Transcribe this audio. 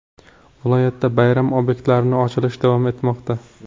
Viloyatda bayram obyektlari ochilishi davom etmoqda.